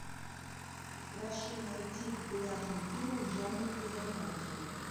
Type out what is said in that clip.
прошу найти популярный фильм в жанре биография